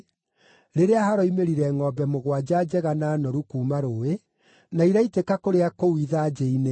rĩrĩa haroimĩrire ngʼombe mũgwanja njega na noru kuuma rũũĩ, na iraitĩka kũrĩa kũu ithanjĩ-inĩ.